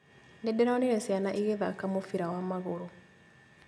Nĩndĩronire ciana igĩthaka mũbira wa magũrũ